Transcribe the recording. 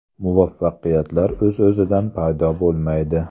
Muvaffaqiyatlar o‘z-o‘zidan paydo bo‘lmaydi.